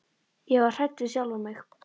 Ég var hrædd við sjálfa mig.